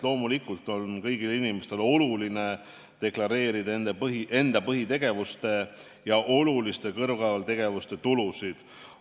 Loomulikult on kõigil inimestel oluline deklareerida enda põhitegevuste ja oluliste kõrvaltegevuste tulusid.